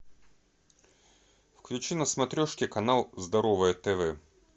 включи на смотрешке канал здоровое тв